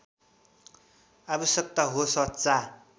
आवश्यकता हो सच्चा